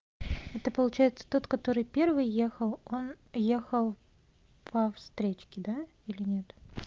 это получается тот который первый ехал он ехал по встречке да или нет